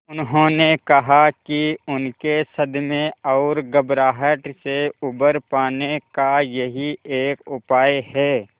उन्होंने कहा कि उनके सदमे और घबराहट से उबर पाने का यही एक उपाय है